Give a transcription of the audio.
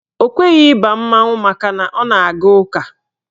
Ọ kweghị ịba mmanwụ makana ọ na-aga ụka.